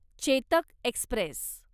Chetak Express